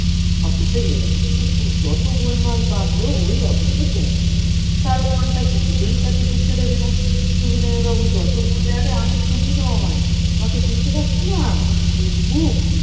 office এ গেলেন কিন্তু যত গোলমাল বাধলো ঐ office এ পৌঁছে দারোয়ানটা কিছুতেই তাকে ঢুকতে দেবে না, সবিনয় বাবু যতই বলে আরে আমি সবিনয় আমাকে চিনতে পারছো না? উজবুক